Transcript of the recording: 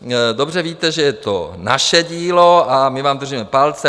Dobře víte, že je to naše dílo, a my vám držíme palce.